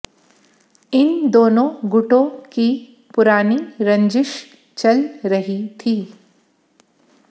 इन दोनो गुटों की पुरानी रंजिश चल रही थी